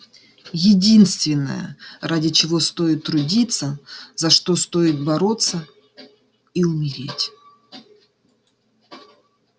единственное ради чего стоит трудиться за что стоит бороться и умереть